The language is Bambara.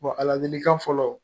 a ladilikan fɔlɔ